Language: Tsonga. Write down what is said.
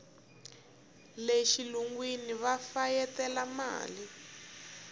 le xilungwini va fayetela mali